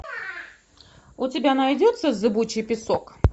у тебя найдется зыбучий песок